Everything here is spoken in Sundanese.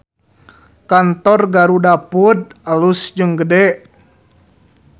Kantor GarudaFood alus jeung gede